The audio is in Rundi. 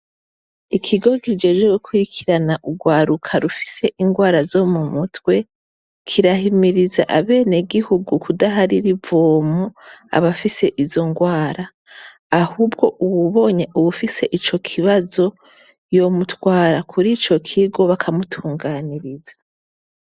Ikigo kijejwe gukurikirana urwaruka rufise indwara zo mu mutwe, kirahirimiriza abanyagihugu kudaharira ivomo abafise izo ndwara. Ahubwo uwibonye uwufise ico kibazo, yomutwara kurico kigo bakamutunganiriza.